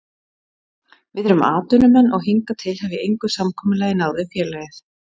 VIð erum atvinnumenn og hingað til hef ég engu samkomulagi náð við félagið.